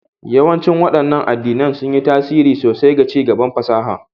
Yawancin waɗannan addinan sun yi tasiri sosai ga ci gaban fasaha